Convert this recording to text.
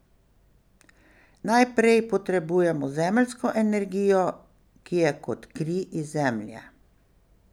Najprej potrebujemo zemeljsko energijo, ki je kot kri iz zemlje.